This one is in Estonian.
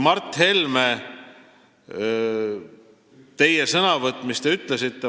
Mart Helme, nüüd sellest, mis te ütlesite oma sõnavõtus.